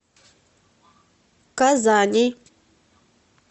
казани